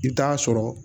I bɛ taa sɔrɔ